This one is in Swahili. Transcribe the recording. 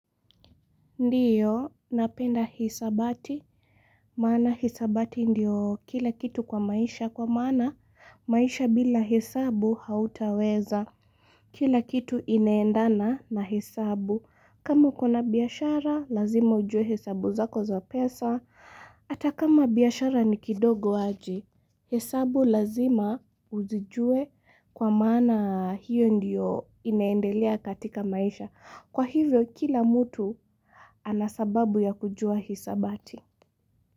Ndiyo, napenda hisabati, maana hisabati ndiyo kila kitu kwa maisha, kwa maana maisha bila hesabu hautaweza. Kila kitu inaendana na hesabu, kama kuna biashara, lazima ujue hesabu zako za pesa, hata kama biashara ni kidogo waji, hesabu lazima uzijue kwa maana hiyo ndiyo inaendelea katika maisha. Kwa hivyo, kila mtu ana sababu ya kujua hisabati.